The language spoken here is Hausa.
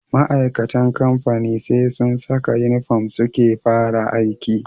Ma'aikatan kamfani SE sun Saka inufom suke fara aiki